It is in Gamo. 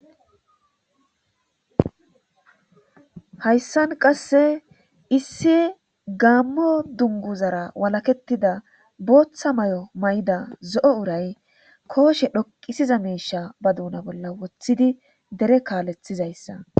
hayssan qasse issi gaammo dunguzara walaketida booththa may7o may7ida zo7o uray kooshe dhoqisiza meisha ba duuna bolla woththidi dere kaalethizayssa